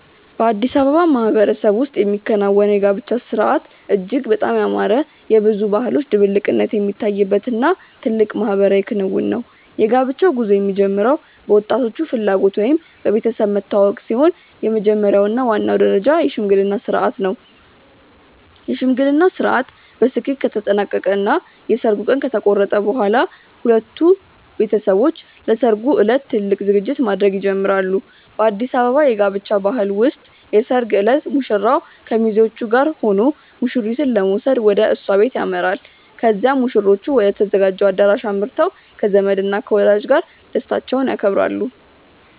በአዲስ አበባ ማህበረሰብ ውስጥ የሚከናወነው የጋብቻ ሥርዓት እጅግ በጣም ያማረ፣ የብዙ ባህሎች ድብልቅነት የሚታይበት እና ትልቅ ማህበራዊ ክንውን ነው። የጋብቻው ጉዞ የሚጀምረው በወጣቶቹ ፍላጎት ወይም በቤተሰብ መተዋወቅ ሲሆን፣ የመጀመሪያው እና ዋናው ደረጃ የሽምግልና ሥርዓት ነው። የሽምግልናው ሥርዓት በስኬት ከተጠናቀቀ እና የሰርጉ ቀን ከተቆረጠ በኋላ፣ ሁለቱም ቤተሰቦች ለሠርጉ ዕለት ትልቅ ዝግጅት ማድረግ ይጀምራሉ። በአዲስ አበባ የጋብቻ ባህል ውስጥ የሰርግ ዕለት ሙሽራው ከሚዜዎቹ ጋር ሆኖ ሙሽሪትን ለመውሰድ ወደ እሷ ቤት ያመራል። ከዚያም ሙሽሮቹ ወደ ተዘጋጀው አዳራሽ አምርተው ከዘመድ እና ከወዳጅ ጋር ደስታቸውን ያከብራሉ።